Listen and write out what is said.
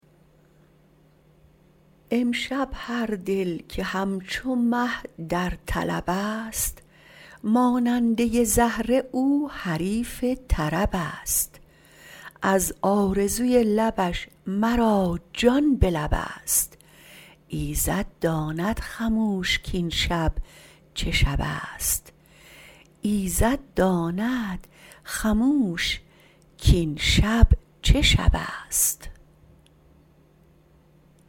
امشب هردل که همچو مه در طلب است ماننده زهره او حریف طرب است از آرزوی لبش مرا جان بلب است ایزد داند خموش کاین شب چه شب است